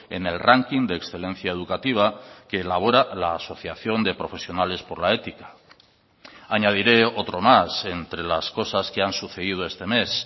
en el ranking de excelencia educativa que elabora la asociación de profesionales por la ética añadiré otro más entre las cosas que han sucedido este mes